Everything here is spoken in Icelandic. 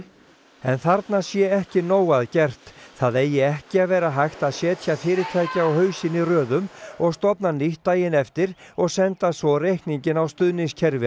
þarna sé ekki nóg að gert það eigi ekki að vera hægt að setja fyrirtæki á hausinn í röðum og stofna nýtt daginn eftir og senda svo reikninginn á stuðningskerfi